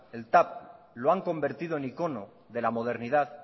el tav lo han convertido en icono de la modernidad